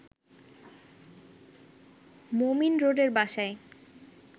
মোমিন রোডের বাসায়